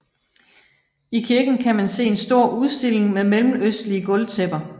I kirken kan man se en stor udstilling med mellemøstlige gulvtæpper